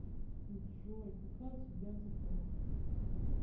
джой какая у тебя зэпэ